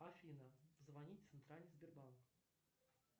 афина звонить в центральный сбербанк